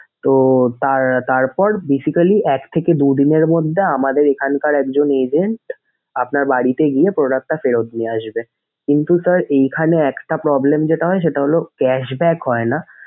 তো তার তারপর basically এক থকে দুই দিনের মধ্যে আমাদের এখানকার একজন agent আপনার বাড়িতে গিয়ে product টা ফেরত নিয়ে আসবে। কিন্তু sir এইখানে একটা problem যেটা হয় সেটা হলো cashback হয়না।